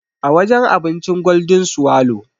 A wajen abincin Golden swallow.